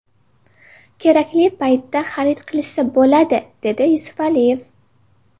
Kerakli paytda xarid qilishsa bo‘ladi”, dedi Yusufaliyev.